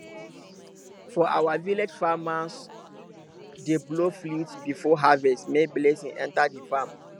for our village farmers dey blow flute before harvest make blessing enter the farm